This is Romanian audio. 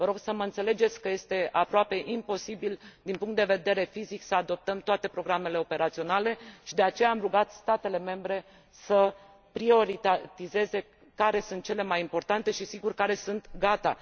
Vă rog să mă înțelegeți că este aproape imposibil din punct de vedere fizic să adoptăm toate programele operaționale și de aceea am rugat statele membre să prioritizeze care sunt cele mai importante și, sigur, care sunt gata.